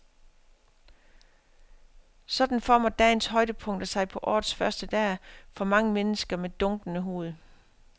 Sådan former dagens højdepunkter sig på årets første dag for mange danskere med dunkende hoved.